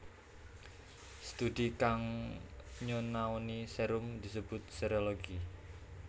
Studi kang nyonaoni serum disebut serologi